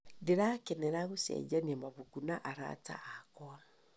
Ndĩrakenera gũcenjania mabuku na arata akwa.